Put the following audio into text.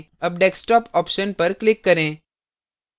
अब desktop option पर click करें